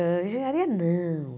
Hã engenharia, não.